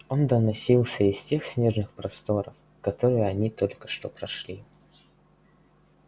он доносился из тех снежных просторов которые они только что прошли